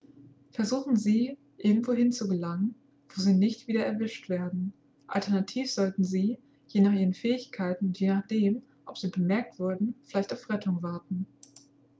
versuchen sie irgendwohin zu gelangen wo sie nicht wieder erwischt werden alternativ sollten sie je nach ihren fähigkeiten und je nachdem ob sie bemerkt wurden vielleicht auf rettung warten